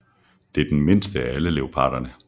Det er den mindste af alle leoparderne